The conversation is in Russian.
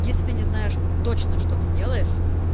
если ты не знаешь точно что ты делаешь